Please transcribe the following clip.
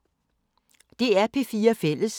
DR P4 Fælles